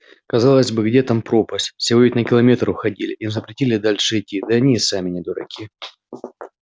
казалось бы где там пропасть всего ведь на километр уходили им запретили дальше идти да они и сами не дураки